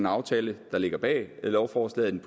aftale der ligger bag lovforslaget